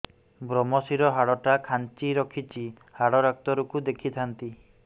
ଵ୍ରମଶିର ହାଡ଼ ଟା ଖାନ୍ଚି ରଖିଛି ହାଡ଼ ଡାକ୍ତର କୁ ଦେଖିଥାନ୍ତି